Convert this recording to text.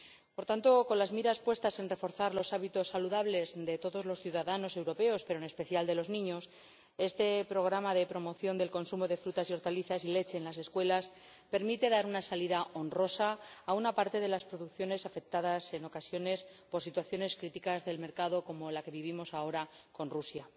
Por tanto, con las miras puestas en reforzar los hábitos saludables de todos los ciudadanos europeos, pero en especial de los niños, este programa de promoción del consumo de frutas y hortalizas y de leche en las escuelas permite dar una salida honrosa a una parte de las producciones que se ven afectadas, en ocasiones, por situaciones críticas del mercado, como la que vivimos ahora con Rusia.